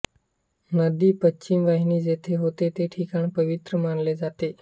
नदी पश्चिम वाहिनी जेथे होते ते ठिकाण पवित्र मानले जाते